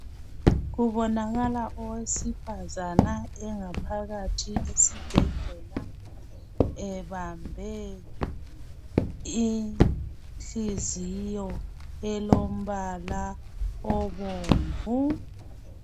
Kubonakala owesifazana engaphakathi esibhedlela .Ebambe inhliziyo elombala obomvu